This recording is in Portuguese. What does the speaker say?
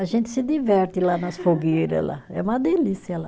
A gente se diverte lá nas fogueira lá, é uma delícia lá.